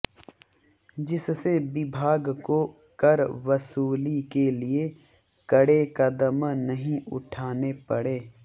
जिससे विभाग को कर वसूली के लिए कड़े कदम नहीं उठाने पड़े